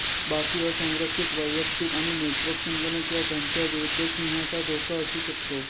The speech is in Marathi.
बाकी असंरक्षित वैयक्तिक आणि नेटवर्क संगणक या धमक्या विरुद्ध सिंहाचा धोका असू शकते